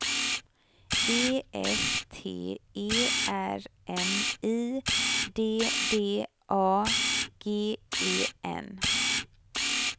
E F T E R M I D D A G E N